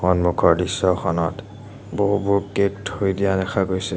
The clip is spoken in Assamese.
সন্মুখৰ দৃশ্যখনত বহুবোৰ কেক থৈ দিয়া দেখা গৈছে।